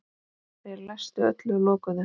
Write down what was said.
Þeir læstu öllu og lokuðu.